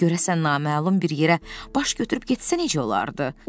Görəsən naməlum bir yerə baş götürüb getsə necə olardı?